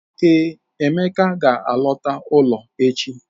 Ee, Emeka ga-alọta ụlọ echi.